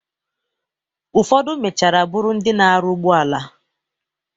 Ụfodụ mechara bụrụ ndị na-aru ụgbọala